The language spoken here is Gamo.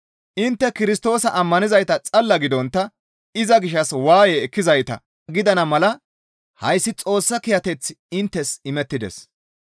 Intte Kirstoosa ammanizayta xalla gidontta iza gishshas waaye ekkizayta gidana mala hayssi Xoossa kiyateththi inttes imettides.